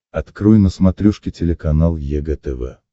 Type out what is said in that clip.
открой на смотрешке телеканал егэ тв